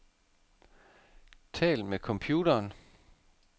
Tal med computeren.